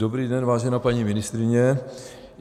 Dobrý den, vážená paní ministryně.